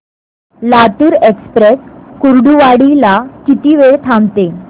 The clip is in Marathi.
लातूर एक्सप्रेस कुर्डुवाडी ला किती वेळ थांबते